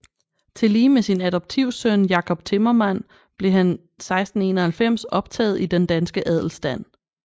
Tillige med sin adoptivsøn Jacob Timmermand blev han 1691 optaget i den danske adelstand